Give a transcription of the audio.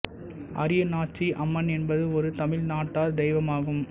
அரியநாச்சி அம்மன் என்பது ஒரு தமிழ் நாட்டார் தெய்வம் ஆகும்